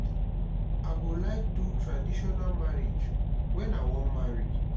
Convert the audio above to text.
i go like do traditional marriage wen i wan marry